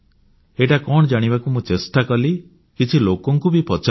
ଏଇଟା କଣ ଜାଣିବାକୁ ମୁଁ ଚେଷ୍ଟା କଲି କିଛି ଲୋକଙ୍କୁ ବି ପଚାରିଲି